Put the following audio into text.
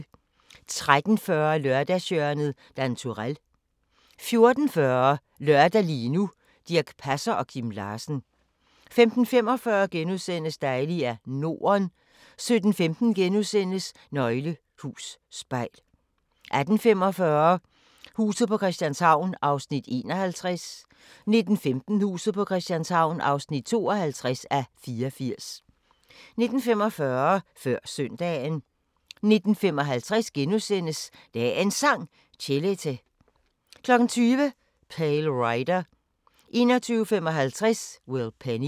13:40: Lørdagshjørnet - Dan Turèll * 14:40: Lørdag – lige nu: Dirch Passer og Kim Larsen 15:45: Dejlig er Norden * 17:15: Nøgle Hus Spejl * 18:45: Huset på Christianshavn (51:84) 19:15: Huset på Christianshavn (52:84) 19:45: Før Søndagen 19:55: Dagens Sang: Chelete * 20:00: Pale Rider 21:55: Will Penny